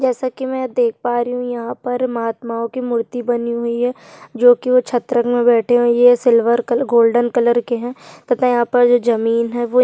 जैसा की मै देख पा रही हूँ यहाँ पर महात्माओ की मूर्ति बनी हुई है जो की छत्र मे बैठे हुए है ये सिल्वर कलर गोल्डन कलर के है तथा यहाँ पर जो ज़मीन है वो ल--